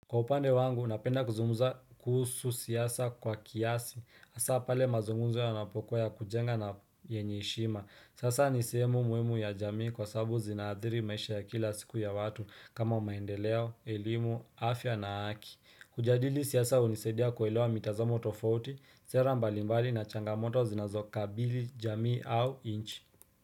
Kwa upande wangu, napenda kuzumuza kuhusu siyasa kwa kiasi, asa pale mazungumzo ya yanapokuwa ya kujenga na yenye heshima, saisa nisehemu muimu ya jamii kwa sababu zinaathiri maisha ya kila siku ya watu kama umaendeleo, elimu, afya na haki, kujadili siyasa unisaidia kuelewa mitazamo tofauti, sera mbalimbali na changamoto zinazokabili jamii au inchi.